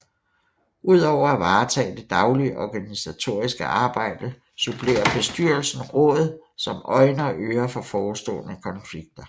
Udover at varetage det daglige organisatoriske arbejde supplerer Bestyrelsen Rådet som øjne og ører for forestående konflikter